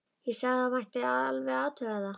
Ég sagði að það mætti alveg athuga það.